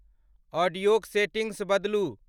ऑडियोक settings बदलू।